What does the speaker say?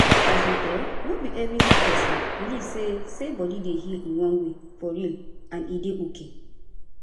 as in[um]no be every sick pesin believe say say body dey heal in one way for real and e dey ok